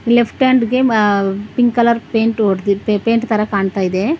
Left hand ಗೆ pink colour paint ಹೊಡೆದಿ paint ತರ ಕಾಣ್ತಾ ಇದೆ.